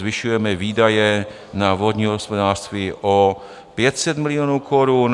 Zvyšujeme výdaje na vodní hospodářství o 500 milionů korun.